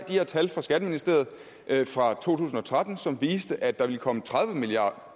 de her tal fra skatteministeriet fra to tusind og tretten som viste at der ville komme tredive million